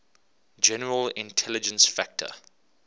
general intelligence factor